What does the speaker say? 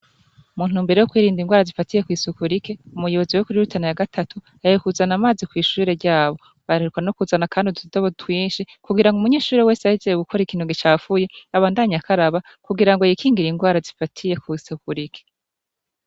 Muntumbere yo kwirinda ingwara zifatiye kwisuku rike umuyobozi wo kuri Rutana ya gatatu agiye kuzana amazi kwishure ryabo, baheruka no kuzana kandi ututobo twinshi kugira ngo umunyeshuri wese ahejeje gukora ikintu gicafuye abandanye akaraba kugira ngo yikingire ingwara zifatiye kwisuku rike.